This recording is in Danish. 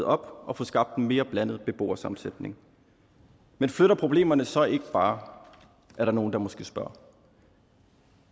op og få skabt en mere blandet beboersammensætning men flytter problemerne så ikke bare er der nogle der måske spørger